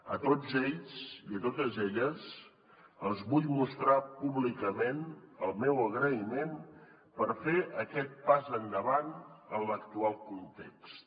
a tots ells i a totes elles els vull mostrar públicament el meu agraïment per fer aquest pas endavant en l’actual context